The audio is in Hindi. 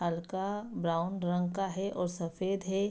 हल्का ब्राउन रंग का है और सफ़ेद है।